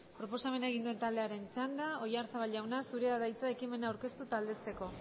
proposamena egin duen taldearen txanda oyarzabal jauna zurea da hitza ekimena aurkeztu eta aldezteko